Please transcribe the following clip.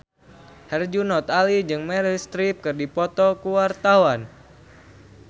Herjunot Ali jeung Meryl Streep keur dipoto ku wartawan